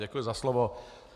Děkuji za slovo.